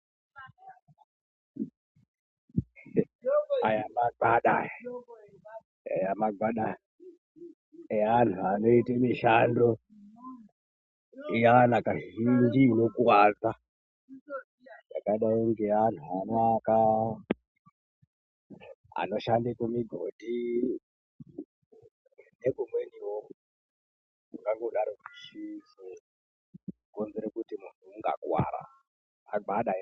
Aya magwada aya, eya magwada eanhu anoite mishando iyana kazhinji inokuwadza. Yakadai ngeantu anoaka, anoshande kumigodhi, nekumweniwo kungangodaro kuchizokonzere kuti muntu ungakuwara. Magwada emene.